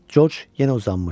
Coç yenə uzanmışdı.